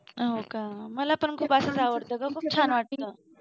हो का मला पण खूप असच आवडतं ग खूप छान वाटतं.